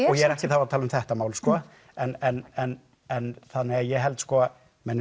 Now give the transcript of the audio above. og ég er ekki þá að tala um þetta mál sko en en en ég held að menn